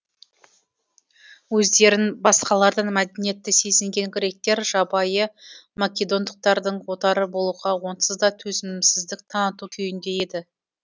өздерін басқалардан мәдениетті сезінген гректер жабайы македондықтардың отары болуға онсыз да төзімсіздік таныту күйінде еді